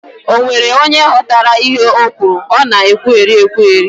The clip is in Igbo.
Ọ nwere onye ghọtara ihe ọ kwuru? Ọ na ekwugheri ekwugheri